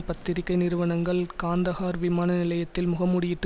பத்திரிகை நிறுவனங்கள் காந்தஹார் விமான நிலையத்தில் முகமூடியிட்டு